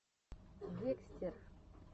декстер